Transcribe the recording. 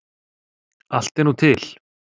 Allt er nú til.